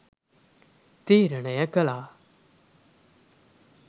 තීරණය කළා.